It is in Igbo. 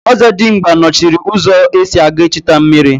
Ọzọdimgba nọchiri ụzọ esi aga echta mmiri.